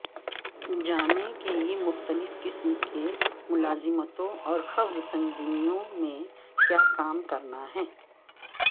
جانیں کہ یہ مختلف قسم کی ملازمتوں اور خبر تنظیموں میں کیا کام کرنا ہے